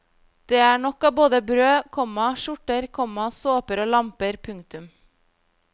Det er nok av både brød, komma skjorter, komma såper og lamper. punktum